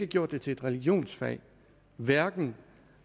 gjort det til et religionsfag hverken